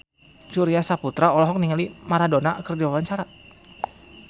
Surya Saputra olohok ningali Maradona keur diwawancara